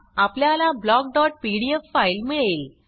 आपल्याला blockपीडीएफ फाइल मिळेल